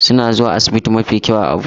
Suna zuwa asibiti mafi kyau a Abuja